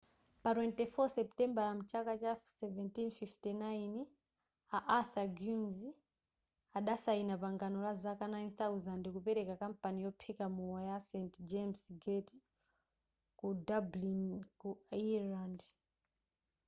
pa 24 seputembala mchaka cha 1759 a arthur guinnes adasaina pangano la zaka 9,000 kupeleka kampani yophika mowa ya st james gate ku dublin ku ireland